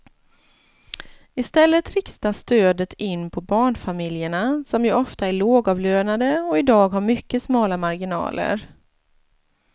I stället riktas stödet in på barnfamiljerna som ju ofta är lågavlönade och i dag har mycket smala marginaler.